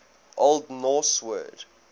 old norse word